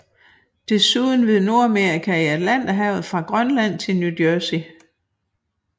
Desuden ved Nordamerika i Atlanterhavet fra Grønland til New Jersey